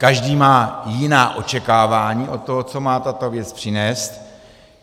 Každý má jiná očekávání od toho, co má tato věc přinést.